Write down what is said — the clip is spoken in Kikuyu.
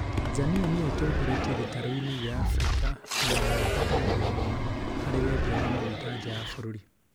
Tanzania nĩyo itongoretie gĩtaru- ĩnĩ gĩa Afrika na ya gatatũ thĩ ng'ima, harĩ wendia wa magũta nja ya bũrũri